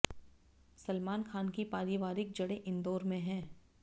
सलमान खान की पारिवारिक जड़ें इंदौर में हैं